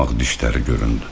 Dümağ dişləri göründü.